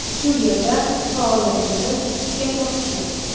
Shu yerda faoliyatimni tugatmoqchiman.